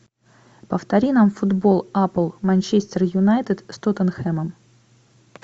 повтори нам футбол апл манчестер юнайтед с тоттенхэмом